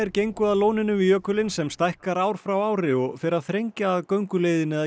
gengu að lóninu við jökulinn sem stækkar ár frá ári og fer að þrengja að gönguleiðinni að